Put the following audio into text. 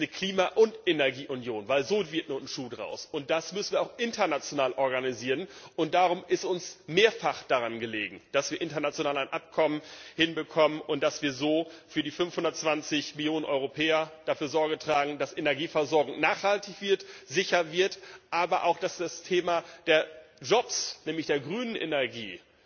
Ich finde, es sollte eine Klima und Energieunion sein, weil nur so ein Schuh daraus wird. Das müssen wir auch international organisieren, und darum ist uns sehr daran gelegen, dass wir international ein Abkommen hinbekommen und dass wir so für die 520 Millionen Europäer dafür Sorge tragen, dass Energieversorgung nachhaltig wird, sicher wird, aber auch dass das Thema der Jobs, nämlich der grünen Energie,